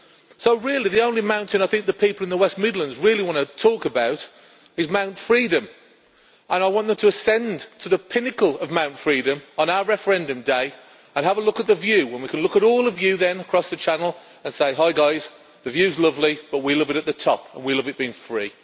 So really, the only mountain that the people in the West Midlands really want to talk about is Mount Freedom'. I want them to ascend to the pinnacle of Mount Freedom' on our referendum day and have a look at the view, when we can look at all of you across the Channel and say Hi guys, the view is lovely, but we love it at the top, and we love it being free.'